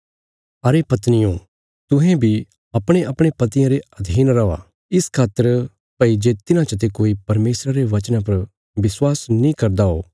अरे पत्नियो तुहें बी अपणेअपणे पतियां रे अधीन रौआ इस खातर भई जे तिन्हां चते कोई परमेशरा रे वचना पर विश्वास नीं करदा हो